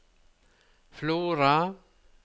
Flora